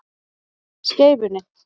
Skeifunni